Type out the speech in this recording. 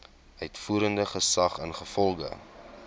uitvoerende gesag ingevolge